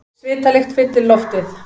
Svitalykt fyllir loftið.